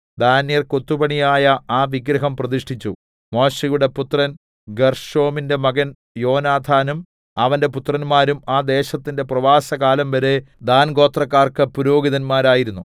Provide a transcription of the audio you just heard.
ദാന്യർ കൊത്തുപണിയായ ആ വിഗ്രഹം പ്രതിഷ്ഠിച്ചു മോശെയുടെ പുത്രൻ ഗേർശോമിന്റെ മകൻ യോനാഥാനും അവന്റെ പുത്രന്മാരും ആ ദേശത്തിന്റെ പ്രവാസകാലംവരെ ദാൻഗോത്രക്കാർക്ക് പുരോഹിതന്മാരായിരുന്നു